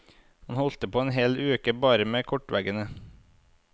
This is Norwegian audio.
Han holdt på en hel uke bare med kortveggen.